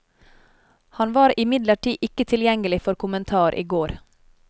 Han var imidlertid ikke tilgjengelig for kommentar i går.